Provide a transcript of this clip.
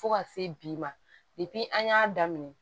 Fo ka se bi ma an y'a daminɛ